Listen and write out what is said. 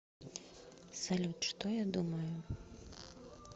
салют что я думаю